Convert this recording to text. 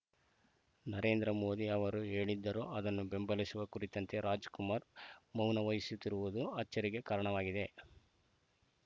ನರೇಂದ್ರ ಮೋದಿ ಅವರು ಹೇಳಿದ್ದರೂ ಅದನ್ನು ಬೆಂಬಲಿಸುವ ಕುರಿತಂತೆ ರಾಜಕುಮಾರ ಮೌನವಹಿಸಿರುವುದು ಅಚ್ಚರಿಗೆ ಕಾರಣವಾಗಿದೆ